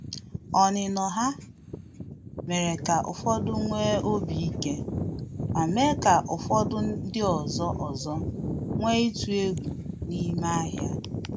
Onino ha mere ka ụfọdụ nwee obi ike, ma mee ka ofodu ndị ọzọ ọzọ nwee itu egwu n’ime ahịa